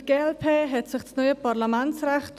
Für die glp hat sich das neue Parlamentsrecht.